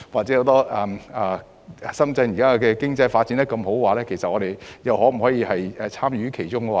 現時深圳的經濟發展蓬勃，香港能否參與其中呢？